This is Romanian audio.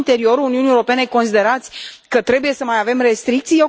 În interiorul Uniunii Europene considerați că trebuie să mai avem restricții?